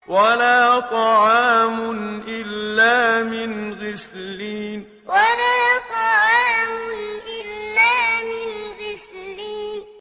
وَلَا طَعَامٌ إِلَّا مِنْ غِسْلِينٍ وَلَا طَعَامٌ إِلَّا مِنْ غِسْلِينٍ